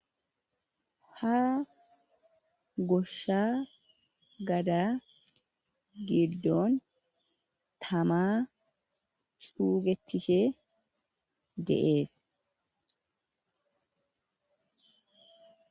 ha goshsha gada giddon tama suugetishe deees